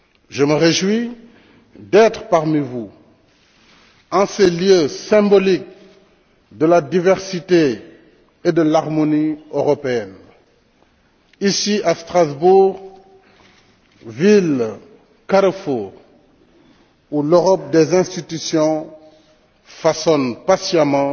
Je me réjouis d'être parmi vous en ces lieux symboliques de la diversité et de l'harmonie européenne, ici à Strasbourg, ville carrefour où l'Europe des institutions façonne patiemment